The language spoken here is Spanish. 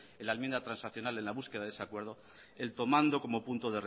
en la enmienda de transaccional en la búsqueda de ese acuerdo el tomando como punto